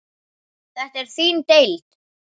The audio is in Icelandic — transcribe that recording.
Þetta er þín deild.